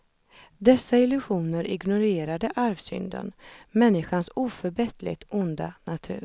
Dessa illusioner ignorerade arvsynden, människans oförbätterligt onda natur.